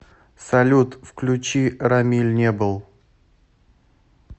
салют включи рамиль не был